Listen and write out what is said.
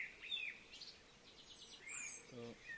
তো